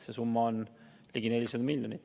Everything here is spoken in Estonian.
See summa on ligi 400 miljonit.